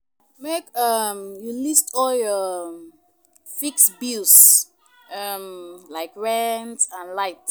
Make um you list all your um fixed bills um like rent and light